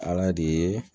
Ala de ye